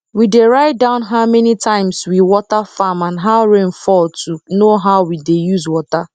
we dey write down how many times we water farm and how rain fall to know how we dey use water